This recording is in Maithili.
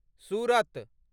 सुरत